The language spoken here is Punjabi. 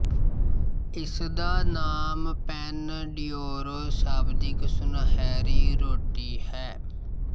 ਇਸਦਾ ਨਾਮ ਪੈਨ ਡੀਓਰੋ ਸ਼ਾਬਦਿਕ ਸੁਨਹਿਰੀ ਰੋਟੀ ਹੈ